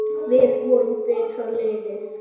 Við vorum betra liðið.